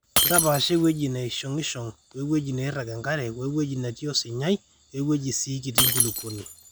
ntapaasha ewueji neshong'ishong we wueji neirag enkare we wueji natii osinyqi we wueji sii kiti enkulukuoni